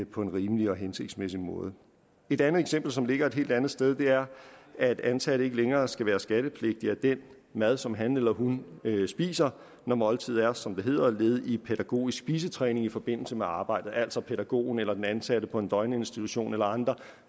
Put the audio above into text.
på en rimelig og hensigtsmæssig måde et andet eksempel som ligger et helt andet sted er at en ansat ikke længere skal være skattepligtig af den mad som han eller hun spiser når måltidet er som det hedder led i pædagogisk spisetræning i forbindelse med arbejdet altså pædagogen eller den ansatte på en døgninstitution eller andre